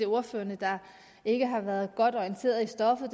ordførerne ikke har været godt orienteret i stoffet